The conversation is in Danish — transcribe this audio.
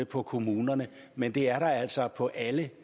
på kommunerne men det er der altså på alle